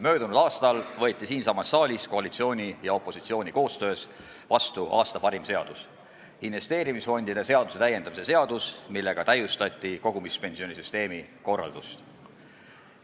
Möödunud aastal võeti siinsamas saalis koalitsiooni ja opositsiooni koostöös vastu aasta parim seadus – investeerimisfondide seaduse täiendamise seadus, millega täiustati kogumispensionisüsteemi korraldust.